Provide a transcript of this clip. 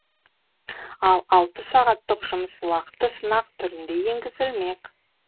ал алты сағаттық жұмыс уақыты сынақ түрінде енгізілмек